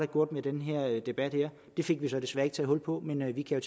gjort med den her debat det fik vi så desværre ikke taget hul på men vi kan